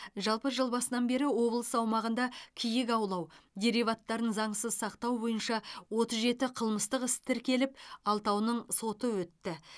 жалпы жыл басынан бері облыс аумағында киік аулау дериваттарын заңсыз сақтау бойынша отыз жеті қылмыстық іс тіркеліп алтауының соты өтті